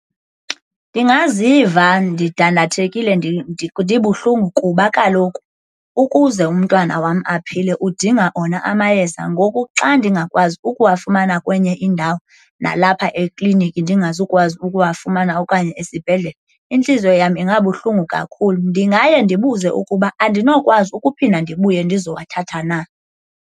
Ndingaziva ndidandathekile ndibuhlungu kuba kaloku ukuze umntwana wam aphile udinga ona amayeza. Ngoku xa ndingakwazi ukuwafumana kwenye indawo nalapha ekliniki ndingazokwazi ukuwafumana okanye esibhedlele, intliziyo yam ingabuhlungu kakhulu. Ndingaye ndibuze ukuba andinokwazi ukuphinda ndibuye ndizowathatha na.